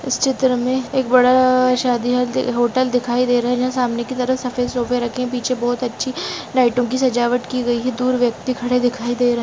इस चित्र में एक बड़ा शादी होल होटल दिखाई दे रहा है जहां सामने की तरफ सफेद सोफे रखे है पीछे बहुत अच्छी लाइटों की सजावट की गई है दूर व्यक्ति दिखाई दे रही है।